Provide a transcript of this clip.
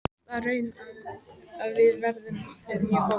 Komst að raun um að viðurinn er mjög góður.